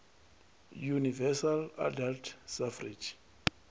universal adult suffrage